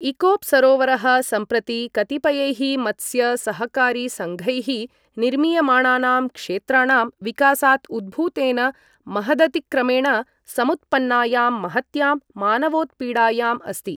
इकोप् सरोवरः सम्प्रति कतिपयैः मत्स्य सहकारि सङ्घैः निर्मीयमाणानां क्षेत्राणां विकासात् उद्भूतेन महदतिक्रमणेन समुत्पन्नायां महत्यां मानवोत्पीडायाम् अस्ति।